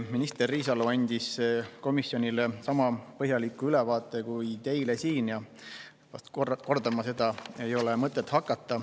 Minister Riisalo andis komisjonile sama põhjaliku ülevaate kui teile täna siin, seda ei ole mul vast mõtet kordama hakata.